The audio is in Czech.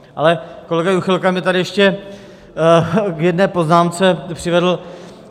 Ale kolega Juchelka mě tady ještě k jedné poznámce přivedl.